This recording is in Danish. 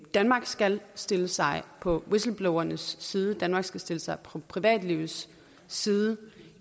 danmark skal stille sig på whistleblowernes side danmark skal stille sig på privatlivets side